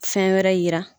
Fɛn wɛrɛ yira